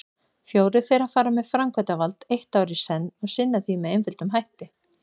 Fjórir þeirra fara með framkvæmdavald eitt ár í senn og sinna því með einföldum hætti.